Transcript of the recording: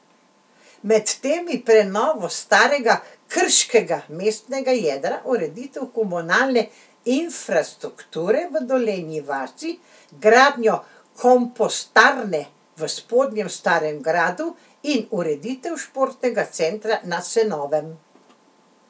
Med temi prenovo starega krškega mestnega jedra, ureditev komunalne infrastrukture v Dolenji vasi, gradnjo kompostarne v Spodnjem Starem Gradu in ureditev športnega centra na Senovem.